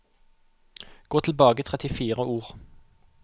Gå tilbake trettifire ord